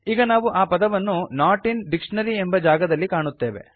ಈಗ ನಾವು ಆ ಪದವನ್ನು ನಾಟ್ ಇನ್ ಡಿಕ್ಷನರಿ ಎಂಬ ಜಾಗದಲ್ಲಿ ಕಾಣುತ್ತೇವೆ